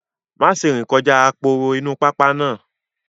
Má ṣe rìn kọjá aporo inú pápá náà